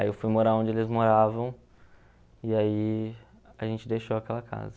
Aí eu fui morar onde eles moravam e aí a gente deixou aquela casa.